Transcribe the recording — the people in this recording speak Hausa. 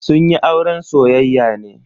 Sun yi auren soyayya ne.